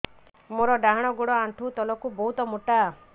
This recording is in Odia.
ମୋର ଡାହାଣ ଗୋଡ ଆଣ୍ଠୁ ତଳୁକୁ ବହୁତ ମୋଟା